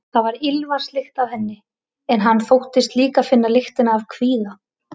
Það var ilmvatnslykt af henni, en hann þóttist líka finna lyktina af kvíða.